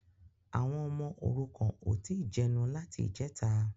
Àwọn ọmọ òrukàn ò tí ì jẹnu láti ìjẹta